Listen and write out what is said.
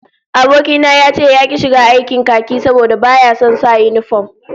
Aboki na ya ce yaki shiga aikin khaki saboda baya son sa yinifom